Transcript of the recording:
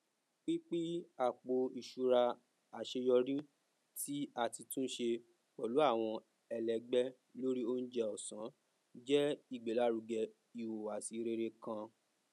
pínpín àpò iṣúra aṣeyọrí tí ati túnse pẹlú àwọn ẹlẹgbẹ lórí oúnjẹ ọsán jẹ ìgbèlárugẹ ìhùwàsí rere kan